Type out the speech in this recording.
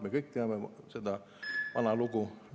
Me kõik teame seda vana lugu …